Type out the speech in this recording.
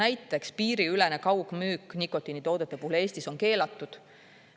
Näiteks piiriülene kaugmüük nikotiinitoodete puhul Eestis on keelatud.